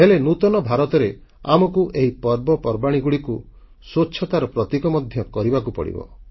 ହେଲେ ନୂତନ ଭାରତରେ ଆମକୁ ଏହି ପର୍ବପର୍ବାଣୀଗୁଡ଼ିକୁ ସ୍ୱଚ୍ଛତାର ପ୍ରତୀକ ମଧ୍ୟ କରିବାକୁ ପଡ଼ିବ